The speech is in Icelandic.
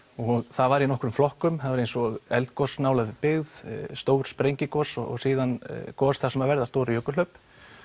það var í nokkrum flokkum það var eins og eldgos nálægð byggð stór sprengigos og síðan gos þar sem verða stór jökulhlaup